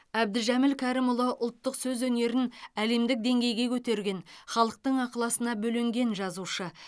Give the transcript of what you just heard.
әбдіжәміл кәрімұлы ұлттық сөз өнерін әлемдік деңгейге көтерген халықтың ықыласына бөленген жазушы